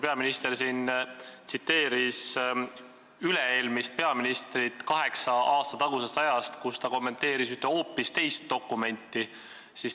Peaminister tsiteeris siin üle-eelmist peaministrit kaheksa aasta tagusest ajast, mil ta kommenteeris ühte hoopis teist dokumenti.